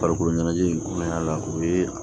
Farikolo ɲɛnajɛ la o ye